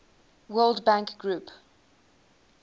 world bank group